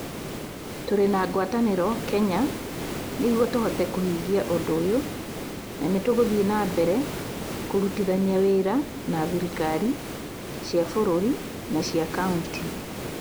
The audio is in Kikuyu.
"Tũrĩ na ngwatanĩro Kenya nĩguo tũhote kũhingia ũndũ ũyũ na nĩtũgũthiĩ na mbere kũrutithania wĩra na thirikari cia bũrũri na cia kaunti".